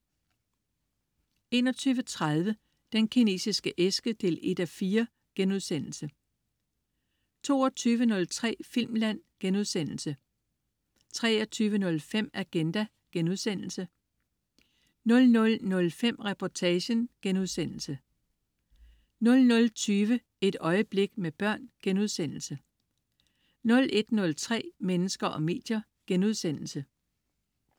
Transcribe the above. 21.30 Den Kinesiske æske 1:4* 22.03 Filmland* 23.05 Agenda* 00.05 Reportagen* 00.20 Et øjeblik med børn* 01.03 Mennesker og medier*